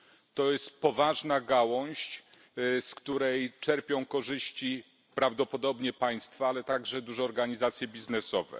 To jest poważna gałąź, z której czerpią korzyści prawdopodobnie państwa, a także duże organizacje biznesowe.